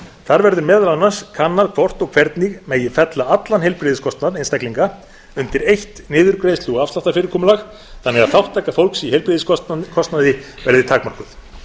þar verður meðal annars kannað hvort og hvernig megi fella allan heilbrigðiskostnað einstaklinga undir eitt niðurgreiðslu og afsláttarfyrirkomulag þannig að þátttaka fólks í heilbrigðiskostnaði verði takmörkuð